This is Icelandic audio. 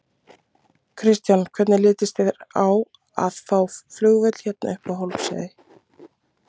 Kristján: Hvernig litist þér á að fá flugvöll hérna upp á Hólmsheiði?